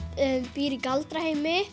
býr í